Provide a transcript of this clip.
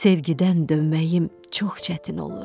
Sevgidən dönməyim çox çətin olur.